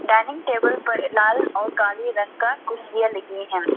Dining table पर लाल और काले रंग का कुर्सियां दिखनी है।